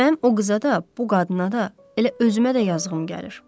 Mənim o qıza da, bu qadına da, elə özümə də yazığım gəlir.